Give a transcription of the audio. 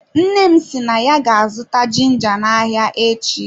Nne m si na ya ga-azụta ginga na ahịa echi.